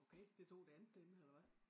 Okay det tog det tog det andet derinde eller hvad